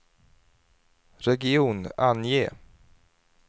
region, ange